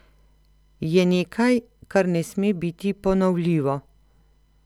Je nekaj, kar ne sme biti ponovljivo.